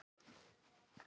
Mörgu þurfti að sinna.